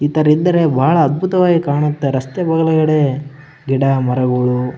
ಈಥೇರ್ ಇದರೆ ಬಾಳ ಅದ್ಭುತವಾಗಿ ಕಾಣುತ್ತೆ ರಸ್ತೆಗಳು ಹೇಳಿ ಗಿಡ ಮರಗಳು --